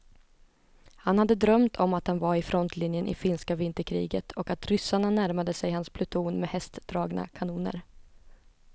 Han hade drömt om att han var i frontlinjen i finska vinterkriget och att ryssarna närmade sig hans pluton med hästdragna kanoner.